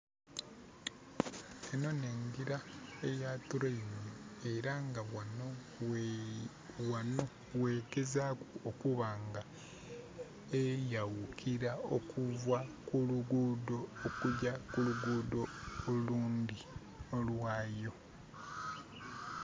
Enho n'engira eya train. Era nga ghano ghe...ghano ghegezaaku okuba nga eyawukira okuva ku luguudho, okugya ku luguudho olundhi, olwa yo.